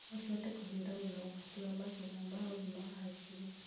No cihote kũhiũrania na ũgwati wa mathĩna ma ũgima wa hakiri.